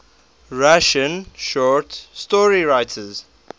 russian short story writers